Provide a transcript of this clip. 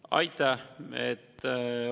Aitäh!